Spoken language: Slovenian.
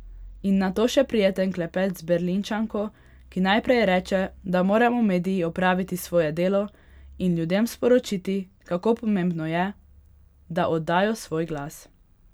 In nato še prijeten klepet z Berlinčanko, ki najprej reče, da moramo mediji opraviti svoje delo in ljudem sporočiti, kako pomembno je, da oddajo svoj glas.